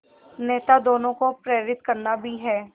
नेता दोनों को प्रेरित करना भी है